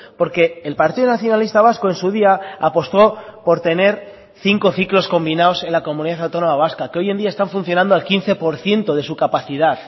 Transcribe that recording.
porque el partido nacionalista vasco en su día apostó por tener cinco ciclos combinados en la comunidad autónoma vasca que hoy en día están funcionando al quince por ciento de su capacidad